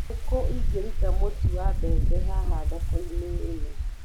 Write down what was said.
ni ku ingĩruta mũtu wa mbembe haha thoko-inĩ ĩno